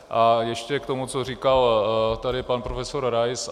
A ještě k tomu, co říkal tady pan profesor Rais.